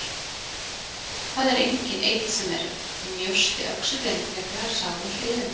Það er enginn einn sem er mjósti öxullinn frekar en sá við hliðina.